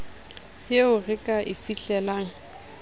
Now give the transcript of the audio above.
eo re ka e fihlelang